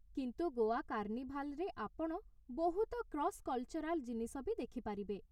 କିନ୍ତୁ ଗୋଆ କାର୍ଣ୍ଣିଭାଲ୍‌ରେ ଆପଣ ବହୁତ କ୍ରସ୍‌କଲ୍‌ଚରାଲ୍ ଜିନିଷ ବି ଦେଖିପାରିବେ ।